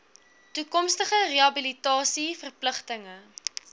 toekomstige rehabilitasie verpligtinge